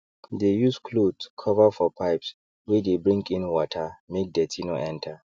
they use clothe cover for pipes wey dey bring in watermake dirty no enter